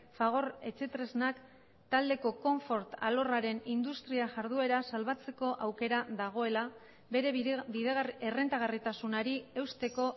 fagor etxetresnak taldeko konfort alorraren industria jarduera salbatzeko aukera dagoela bere errentagarritasunari eusteko